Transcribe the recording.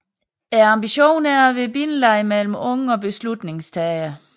Ambitionen er at være bindeleddet mellem unge og beslutningstagere